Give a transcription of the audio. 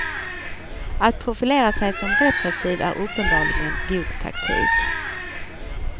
Att profilera sig som repressiv är uppenbarligen god taktik.